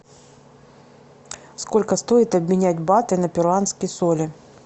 сколько стоит обменять баты на перуанские соли